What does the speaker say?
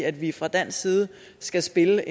at vi fra dansk side skal spille